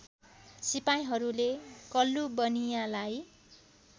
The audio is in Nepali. सिपाहीहरूले कल्लु बनियाँलाई